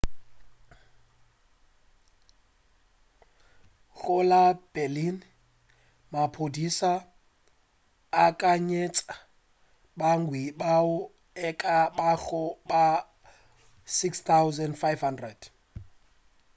go la berlin maphodisa a akanyetša bagwanti bao e ka bago ba 6,500